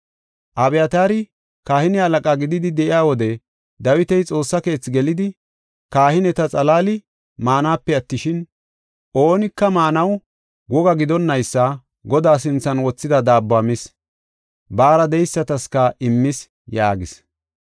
Abyataari kahine halaqa gididi de7iya wode Dawiti Xoossa keethi gelidi, kahineta xalaali maanape attishin, oonika maanaw woga gidonnaysa Godaa sinthan wothida daabbuwa mis, baara de7eystaska immis” yaagis.